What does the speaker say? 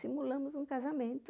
Simulamos um casamento.